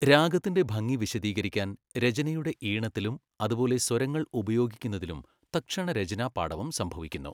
രാഗത്തിൻ്റെ ഭംഗി വിശദീകരിക്കാൻ രചനയുടെ ഈണത്തിലും അതുപോലെ സ്വരങ്ങൾ ഉപയോഗിക്കുന്നതിലും തത്ക്ഷണ രചനാപാടവം സംഭവിക്കുന്നു.